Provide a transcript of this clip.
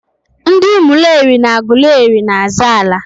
ndị Umuleri na Agụleri na-azọ ala.